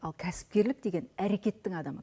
ал кәсіпкерлік деген әрекеттің адамы